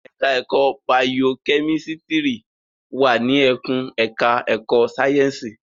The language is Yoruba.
Ẹ̀ka ẹ̀kó bayokẹ́mísítírì wà ní ẹkùn ẹ̀ka ẹ̀kó sáyẹ́ǹsì.